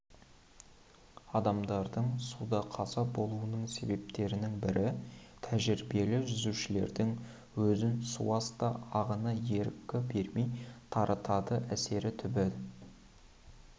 адамдардың суда қаза болуының себептерінің бірі тәжірибелі жүзушілердің өзін суасты ағыны ерік бермей тартады әсіресе түбі